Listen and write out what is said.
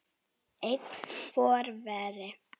Einn forveri